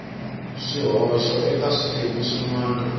swihoxo eka swiphemu swin wana